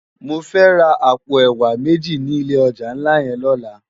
Mò fè rá àpó èwá méji ni ilé òjá nlá yèn lòlá